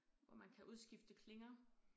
Hvor man kan udskifte klinger